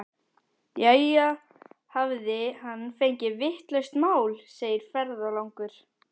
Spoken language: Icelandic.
Jæja, hafði hann fengið vitlaust mál, segir ferðalangur.